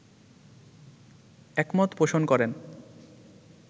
একমত পোষণ করেন